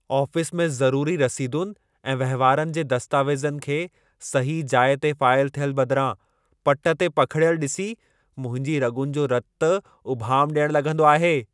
Office में ज़रूरी रसीदुनि ऐं वहिंवारनि जे दस्तावेज़नि खे सही जाइ ते फाइल थियल बदिरां पट ते पखिड़ियलु ॾिसी, मुंहिंजी रॻुनि जो रतु उभाम ॾियण लॻंदो आहे।